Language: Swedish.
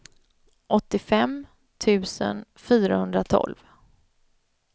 åttiofem tusen fyrahundratolv